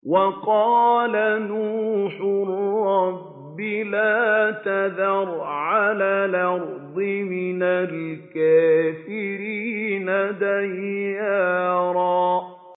وَقَالَ نُوحٌ رَّبِّ لَا تَذَرْ عَلَى الْأَرْضِ مِنَ الْكَافِرِينَ دَيَّارًا